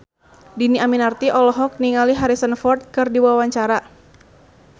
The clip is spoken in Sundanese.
Dhini Aminarti olohok ningali Harrison Ford keur diwawancara